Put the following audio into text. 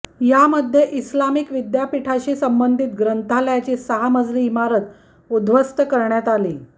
यामध्ये इस्लामिक विद्यापीठाशी संबंधित ग्रंथालयाची सहा मजली इमारत उद्ध्वस्त करण्यात आली